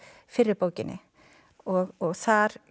fyrri bókinni og þar